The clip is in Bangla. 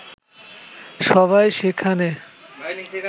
সবাই সেখানে